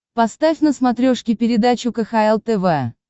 поставь на смотрешке передачу кхл тв